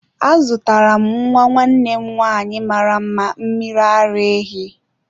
Azụtara m nwa nwanne m nwanyị mara mma mmiri ara ehi.